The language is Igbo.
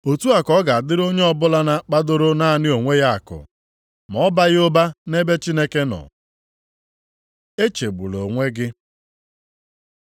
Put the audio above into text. “Otu a ka ọ ga-adịrị onye ọbụla na-akpadoro naanị onwe ya akụ, ma ọ baghị ụba nʼebe Chineke nọ.” Echegbula onwe gị